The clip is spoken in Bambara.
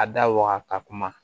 A da waga ka kuma